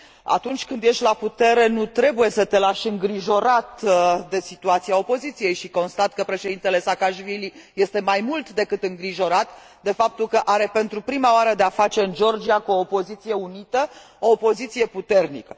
Atunci când ești la putere nu trebuie să te lași îngrijorat de situația opoziției și constat că Președintele Saakashvili este mai mult decât îngrijorat de faptul că are pentru prima oară de a face în Georgia cu o opoziție unită, o opoziție puternică.